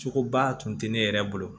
Cogoba tun tɛ ne yɛrɛ bolo